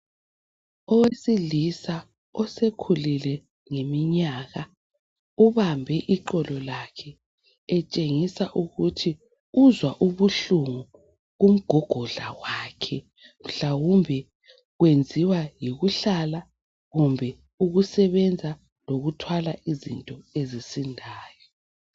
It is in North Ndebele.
Owesilisa osekhulile ngeminyaka ubambe iqolo lakhe etshengisa ukuthi uzwa ubuhlungu kumgogodla wakhe mhlawumbe kwenziwa yikuhlala kumbe ukusebenza lokuthwala izinto ezisindayo.